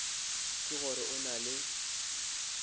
ke gore o na le